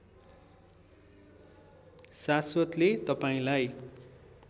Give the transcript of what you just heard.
शाश्वतले तपाईँलाई